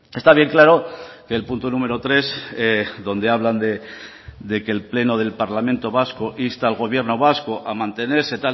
está bien claro que el punto número tres donde hablan de que el pleno del parlamento vasco insta al gobierno vasco a mantenerse